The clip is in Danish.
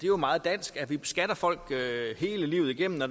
jo meget dansk at vi beskatter folk hele livet igennem og